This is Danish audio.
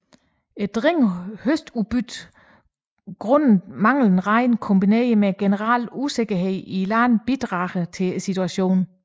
Dårligt høstudbytte grundet manglende regn kombineret med generel usikkerhed i landet bidrager til situationen